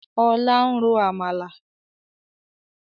Ọlá ń ro Àmàlà.